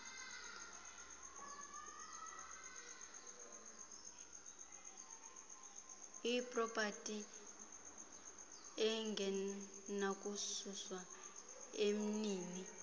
ipropati engenakususwa emnini